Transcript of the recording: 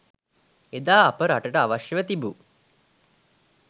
එදා අප රටට අවශ්‍යව තිබූ